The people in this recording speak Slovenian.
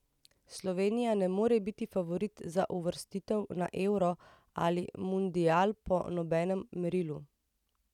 Slovenija ne more biti favorit za uvrstitev na euro ali mundial po nobenem merilu.